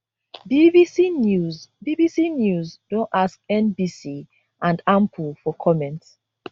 bbc news bbc news don ask nbc and ample for comment